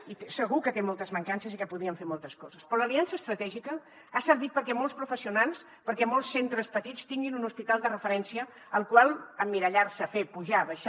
i segur que té moltes mancances i que podríem fer moltes coses però l’aliança estratègica ha servit perquè molts professionals perquè molts centres petits tinguin un hospital de referència al qual emmirallar se fer pujar baixar